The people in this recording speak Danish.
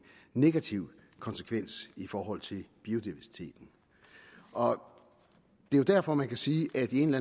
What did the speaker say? negativ konsekvens i forhold til biodiversiteten og det er derfor man kan sige at i en